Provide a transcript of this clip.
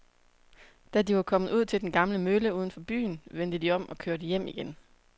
Da de var kommet ud til den gamle mølle uden for byen, vendte de om og kørte hjem igen.